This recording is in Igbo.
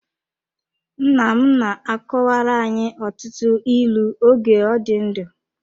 Nnam na-akọwara anyị ọtụtụ ịlụ oge ọ dị ndụ.